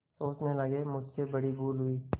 सोचने लगेमुझसे बड़ी भूल हुई